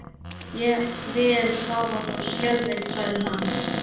Ég vil hafa það skjalfest, sagði hann.